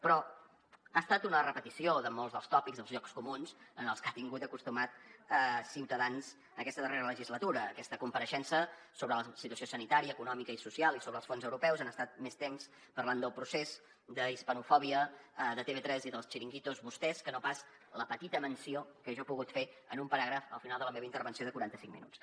però ha estat una repetició de molts dels tòpics dels llocs comuns als que ha tingut acostumat ciutadans aquesta darrera legislatura en aquesta compareixença sobre la situació sanitària econòmica i social i sobre els fons europeus han estat més temps parlant del procés d’hispanofòbia de tv3 i dels chiringuitos vostès que no pas la petita menció que jo he pogut fer en un paràgraf al final de la meva intervenció de quaranta cinc minuts